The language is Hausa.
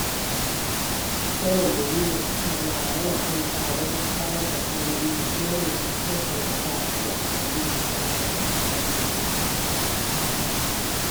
Sanin dalilin tattaunawa yana taimakawa wajen samar da kalmomi da kuma yanayin harshen da za'a iya amfani dashi a yayin tattaunawar.